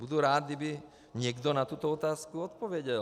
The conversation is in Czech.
Budu rád, kdyby někdo na tuto otázku odpověděl.